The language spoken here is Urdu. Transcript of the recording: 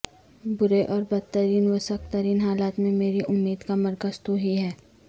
برے اور بدترین و سخت ترین حالات میں میری امید کا مرکز توہی ہے